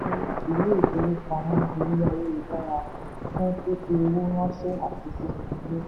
ilé ìfowópamọ orí ayélujára fún fífi owó ránṣẹ́ àti sísan owó.